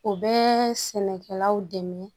U bɛ sɛnɛkɛlaw dɛmɛ